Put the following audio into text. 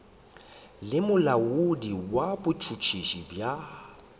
le molaodi wa botšhotšhisi bja